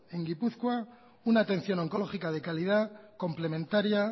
en gipuzkoa una atención oncológica de calidad complementaria